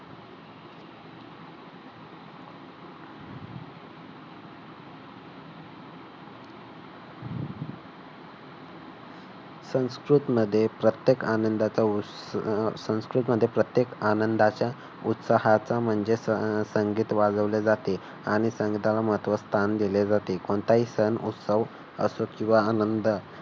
संस्कृत मध्ये प्रत्येक आनंदाचा उत्सव अह संस्कृत मध्ये प्रत्येक आनंदाच्या उत्साहाचा म्हणजे संगीत वाजवले जाते आणि संगीताला महत्त्वाचे स्थान दिले जाते. कोणताही सण असो किंवा आनंद